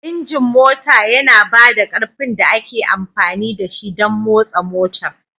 Injin mota yana ba da ƙarfin da ake amfani da shi don motsa motar